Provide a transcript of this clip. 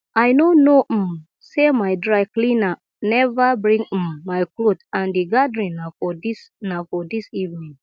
i no know um say my dry cleaner never bring um my cloth and the gathering na for dis na for dis evening